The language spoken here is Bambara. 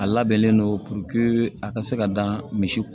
A labɛnnen don a ka se ka dan misi